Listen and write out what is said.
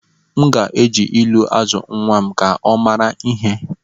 M ga-eji ilu azụ nnwa m ka ọ mara ihe